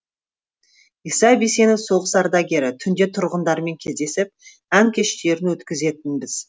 иса бисенов соғыс ардагері түнде тұрғындармен кездесіп ән кештерін өткізетінбіз